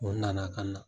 O nana ka na